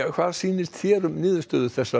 hvað sýnist þér um niðurstöður